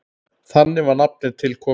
Þannig var nafnið til komið.